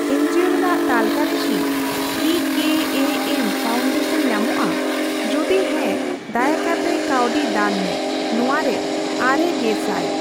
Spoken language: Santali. ᱮᱱᱡᱤᱣᱳ ᱨᱮᱱᱟᱜ ᱛᱟᱹᱞᱠᱟᱹᱨᱮ ᱠᱤ ᱤ ᱠᱮ ᱮ ᱮᱢ ᱯᱷᱟᱣᱩᱱᱰᱟᱥᱚᱱ ᱧᱟᱢᱚᱜᱼᱟ, ᱡᱩᱫᱤ ᱦᱮᱸ ᱫᱟᱭᱟᱠᱟᱛᱮ ᱠᱟᱹᱣᱰᱤ ᱫᱟᱱ ᱢᱮ ᱾ ᱱᱚᱣᱟᱨᱮ ᱙000।